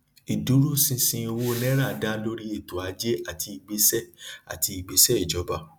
ìdúróṣinṣin owó náírà dá lórí ètò ajé àti ìgbésẹ àti ìgbésẹ ìjọba